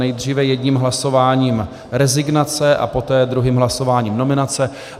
Nejdříve jedním hlasováním rezignace a poté druhým hlasováním nominace.